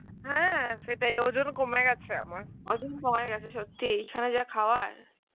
হ্যাঁ সেটাই ওজন কমে গেছে আমার, ওজন কমে গেছে সত্যিই যা খাওয়ায়